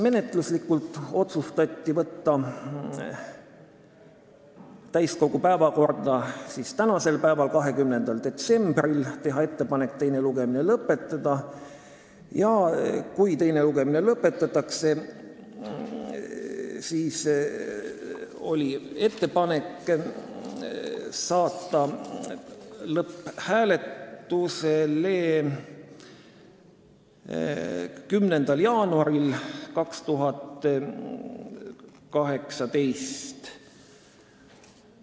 Menetluslikud otsused: otsustati saata eelnõu täiskogu päevakorda tänaseks päevaks, 20. detsembriks, teha ettepanek teine lugemine lõpetada ja kui teine lugemine lõpetatakse, siis on meil ettepanek panna eelnõu lõpphääletusele 10. jaanuaril 2018.